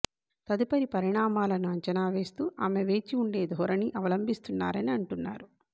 తదుపరి పరిణామాలను అంచనా వేస్తూ ఆమె వేచి ఉండే ధోరణి అవలంభిస్తున్నారని అంటున్నారు